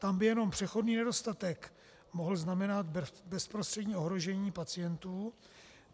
Tam by jenom přechodný nedostatek mohl znamenat bezprostřední ohrožení pacientů.